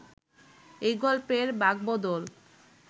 এই গল্পের বাঁকবদল